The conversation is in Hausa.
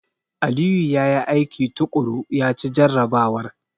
Aliyu ya yi aiki tuƙuru, ya ci jarrabawar.